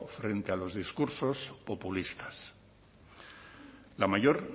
frente a los discursos populistas la mayor